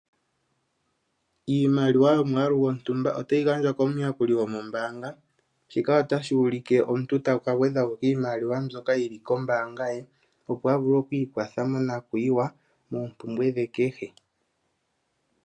Iimaliwa yo mwaalu gotumbwa otayi gandjwa komuyakuli gomo mbaanga shika otashi ulike omuntu taka gwedha ko kiimaliwa mbyoka yili kombaanva ye opo a vule oku ikwatha mo nakuwa ye noopumbwe dhe kehe.